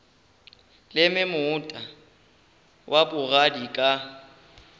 leme moota wa bogadi ka